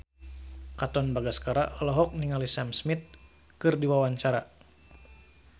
Katon Bagaskara olohok ningali Sam Smith keur diwawancara